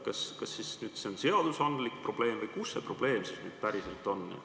Kas see on nüüd seadusandlik probleem või kus see probleem päriselt on?